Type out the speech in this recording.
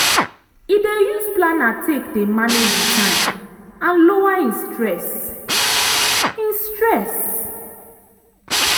e dey use planner take dey manage e time and lower e stress. e stress.